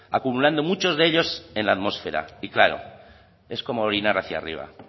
acumulando muchos de ellos en la atmósfera y claro es como orinar hacia arriba